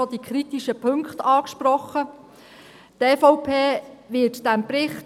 Er hat die kritischen Punkte wirklich bereits angesprochen.